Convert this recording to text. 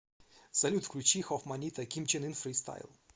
салют включи хофманнита ким чен ын фристайл